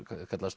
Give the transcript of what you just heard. kallað